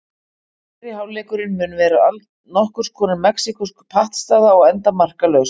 Fyrri hálfleikurinn mun vera nokkurs konar mexíkósk pattstaða og enda markalaus.